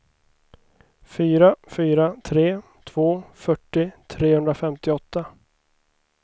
fyra fyra tre två fyrtio trehundrafemtioåtta